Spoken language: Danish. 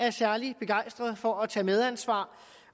er særlig begejstret for at tage et medansvar